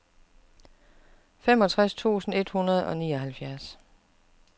femogtres tusind et hundrede og nioghalvfjerds